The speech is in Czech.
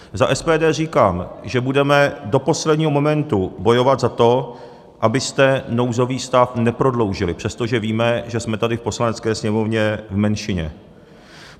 Za SPD říkám, že budeme do posledního momentu bojovat za to, abyste nouzový stav neprodloužili, přestože víme, že jsme tady v Poslanecké sněmovně v menšině.